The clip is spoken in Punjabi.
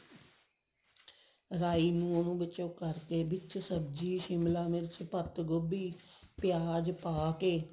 ਰਾਈ ਨੂੰ ਉਹਨੂੰ ਵਿੱਚ ਕਰਕੇ ਸਬ੍ਜ਼ੀ ਸ਼ਿਮਲਾ ਮਿਰਚ ਪੱਤ ਗੋਭੀ ਪਿਆਜ ਪਾ ਕੇ